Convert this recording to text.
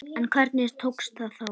En hvernig tókst það þá?